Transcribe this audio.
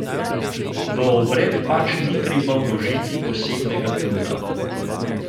V obred pač ni treba vložiti posebnega truda.